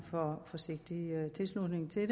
forsigtig tilslutning til